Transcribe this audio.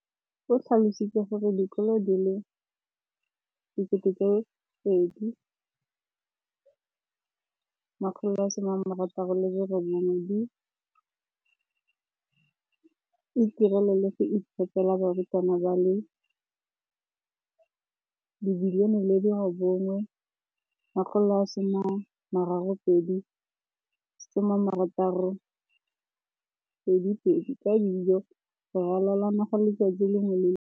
Mo ngwageng wa matlole wa 2015,16, bokanaka R5 703 bilione e ne ya abelwa lenaane leno.